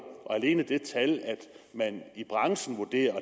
alene det at man i branchen vurderer og